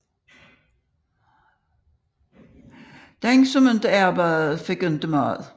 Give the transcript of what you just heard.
Den som ikke arbejdede fik ingen mad